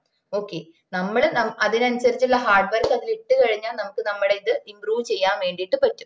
okay നമ്മള് നമ് അതിനനുസരിച്ചുള്ള hard work അതിലിട്ട് കഴിഞ്ഞാ നമുക്ക് നമ്മള ഇത് improve ചെയ്യാൻ വേണ്ടീട്ട് പറ്റും